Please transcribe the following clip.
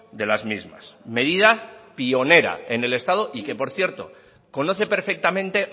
de las mismas medida pionera en el estado y que por cierto conoce perfectamente